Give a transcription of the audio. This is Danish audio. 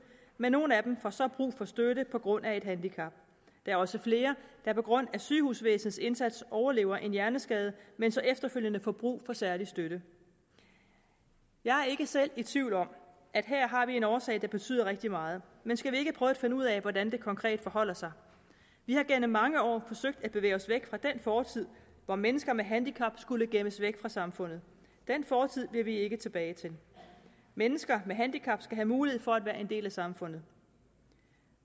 men nogle af dem får så brug for støtte på grund af et handicap der er også flere der på grund af sygehusvæsenets indsats overlever en hjerneskade men så efterfølgende får brug for særlig støtte jeg er ikke selv i tvivl om at vi her har nogle årsager der betyder rigtig meget men skal vi ikke prøve at finde ud af hvordan det konkret forholder sig vi har igennem mange år forsøgt at bevæge os væk fra den fortid hvor mennesker med handicap skulle gemmes væk fra samfundet den fortid vil vi ikke tilbage til mennesker med handicap skal have mulighed for at være en del af samfundet